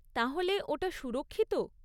তাহলে, ওটা সুরক্ষিত?